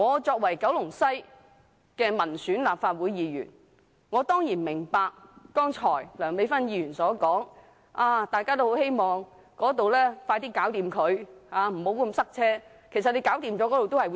作為九龍西的民選立法會議員，我當然明白剛才梁美芬議員所說，大家都希望高鐵工程盡快完成，避免交通嚴重擠塞。